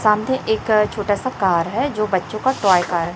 सामने एक छोटा सा कार है जो बच्चों का टॉय कार है।